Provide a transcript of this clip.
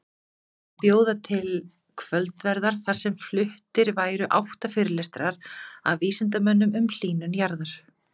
Að bjóða til kvöldverðar þar sem fluttir væru átta fyrirlestrar af vísindamönnum um hlýnun jarðar.